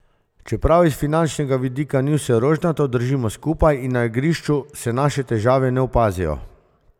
Čeprav iz finančnega vidika ni vse rožnato, držimo skupaj in na igrišču se naše težave ne opazijo.